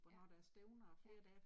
Ja, ja